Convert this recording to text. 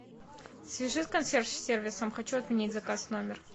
свяжи с консьерж сервисом хочу отменить заказ в номер